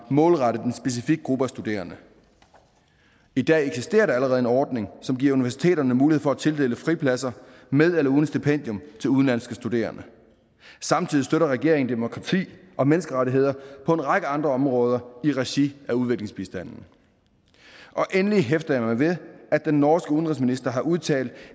målrettet en specifik gruppe af studerende i dag eksisterer der allerede en ordning som giver universiteterne mulighed for at tildele fripladser med eller uden stipendium til udenlandske studerende samtidig støtter regeringen demokrati og menneskerettigheder på en række andre områder i regi af udviklingsbistanden endelig hæfter jeg mig ved at den norske udenrigsminister har udtalt